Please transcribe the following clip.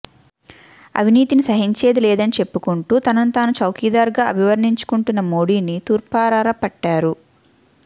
అవినీతిని సహించేది లేదని చెప్పుకుంటూ తనను తాను చౌకీదార్గా అభివర్ణించుకుంటున్న మోడీని తూర్పారబట్టారు